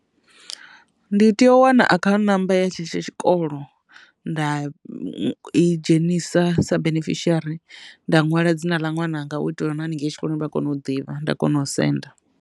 Ndi tea u wana account number ya tshetsho tshikolo nda i dzhenisa sa benefishiari nda nwala dzina ḽa ṅwananga u itela u na haningei tshikoloni vha kone u ḓivha nda kona u senda.